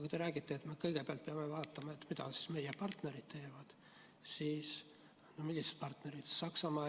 Kui te räägite, et me peame kõigepealt vaatama, mida meie partnerid teevad, siis millised partnerid?